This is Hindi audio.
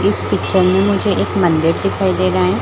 इस पिक्चर में मुझे एक मंदिर दिखाई दे रहा है।